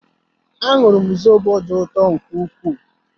Añụrum zobo dị ụtọ nke ukwuu